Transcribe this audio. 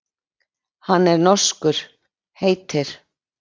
Hann er norskur, heitir